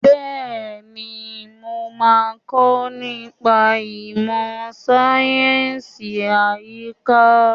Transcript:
Bẹ́ẹ̀ni, mo máa kọ́ nípa ìmọ̀ sáyẹ̀nsì àyíká.